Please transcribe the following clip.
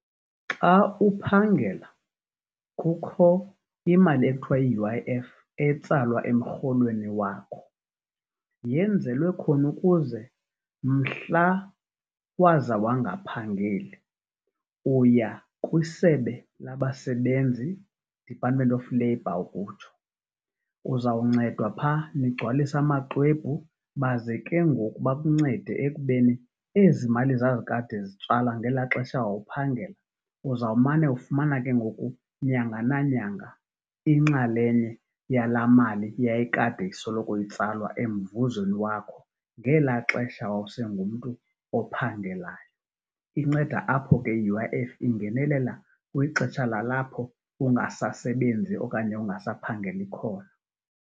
Xa uphangela kukho imali ekuthiwa yi-U_I_F etsalwa emrholweni wakho yenzelwe khona ukuze mhla waza wangaphangeli uya kwisebe labasebenzi, Department of Labor, ukutsho, uzawuncedwa phaa nigcwalise amaxwebhu baze ke ngoku bakuncede ekubeni ezi mali zazikade zitsalwa ngela xesha wawuphangela, uzawumane ufumana ke ngoku nyanga nanyanga inxalenye yala mali yayikade isoloko itsalwa emvuzweni wakho ngela xesha wawusengumntu ophangelayo. Inceda apho ke i-U_I_F ingenelela kwixesha lalapho ungasasebenzi okanye ungasaphangeli khona.